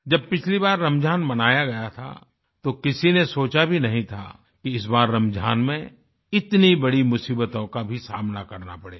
जब पिछली बार रमज़ान मनाया गया था तो किसी ने सोचा भी नहीं था कि इस बार रमज़ान में इतनी बड़ी मुसीबतों का भी सामना करना पड़ेगा